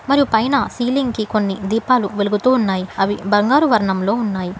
మరియు పైన సీలింగ్ కి కొన్ని దీపాలు వెలుగుతూ ఉన్నాయి అవి బంగారు వర్ణంలో ఉన్నాయి.